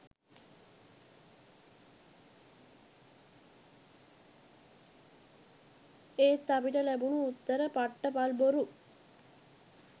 එත් අපිට ලැබුණු උත්තර පට්ට පල් බොරු.